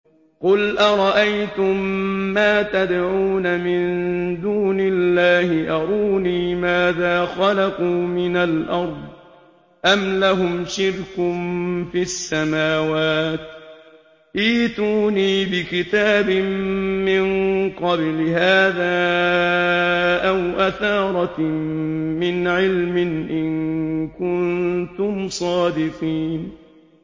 قُلْ أَرَأَيْتُم مَّا تَدْعُونَ مِن دُونِ اللَّهِ أَرُونِي مَاذَا خَلَقُوا مِنَ الْأَرْضِ أَمْ لَهُمْ شِرْكٌ فِي السَّمَاوَاتِ ۖ ائْتُونِي بِكِتَابٍ مِّن قَبْلِ هَٰذَا أَوْ أَثَارَةٍ مِّنْ عِلْمٍ إِن كُنتُمْ صَادِقِينَ